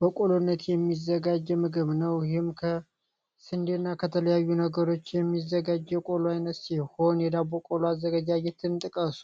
በቆሎነት የሚዘጋጀ ምግብ ነው። ይህም ከስንዴ እና ከተለያዩ ነገሮች የሚዘጋጀ ቆሎ አይነት ሲሆን፤ የዳቦ ቆሎ አዘገጃጀትን ጥቀሱ?